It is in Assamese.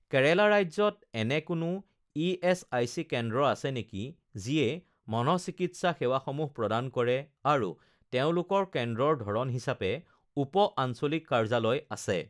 কেৰেলা ৰাজ্যত এনে কোনো ইএচআইচি কেন্দ্ৰ আছে নেকি যিয়ে মনঃচিকিৎসা সেৱাসমূহ প্ৰদান কৰে আৰু তেওঁলোকৰ কেন্দ্ৰৰ ধৰণ হিচাপে উপ-আঞ্চলিক কাৰ্যালয় আছে?